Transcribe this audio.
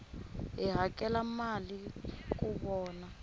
hi hakela mali ku vona